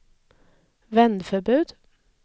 vändförbud